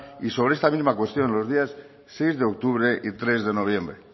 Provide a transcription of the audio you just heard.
y sobre esta misma cuestión los días seis de octubre y tres de noviembre